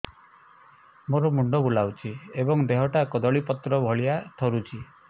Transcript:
ମୋର ମୁଣ୍ଡ ବୁଲାଉଛି ଏବଂ ଦେହଟା କଦଳୀପତ୍ର ଭଳିଆ ଥରୁଛି